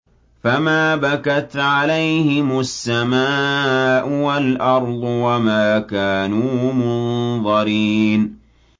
فَمَا بَكَتْ عَلَيْهِمُ السَّمَاءُ وَالْأَرْضُ وَمَا كَانُوا مُنظَرِينَ